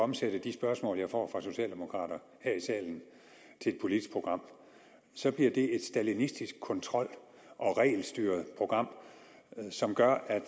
omsætte de spørgsmål jeg får fra socialdemokrater her i salen til et politisk program så bliver det et stalinistisk kontrol og regelstyret program som gør herre